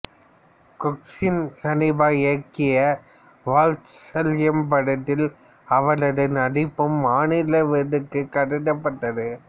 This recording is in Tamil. கொச்சின் ஹனீபா இயக்கிய வால்ட்சல்யம் படத்தில் அவரது நடிப்பும் மாநில விருதுக்குக் கருதப்பட்டது